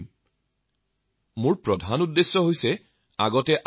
হয় মহোদয়